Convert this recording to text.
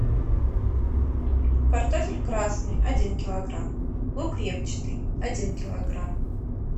картофель красный один килограмм лук репчатый один килограмм